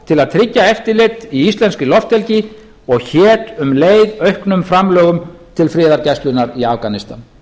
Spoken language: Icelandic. til að tryggja eftirlit í íslenskri lofthelgi og hét um leið auknum framlögum til friðargæslunnar í afganistan